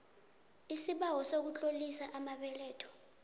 isibawo sokutlolisa amabeletho